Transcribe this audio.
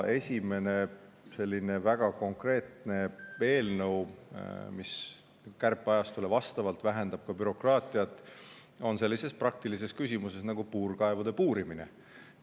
Esimene selline väga konkreetne eelnõu, mis kärpeajastule vastavalt vähendab ka bürokraatiat, käsitleb sellist praktilist küsimust nagu puurkaevude puurimine.